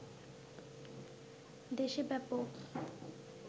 দেশে ব্যাপক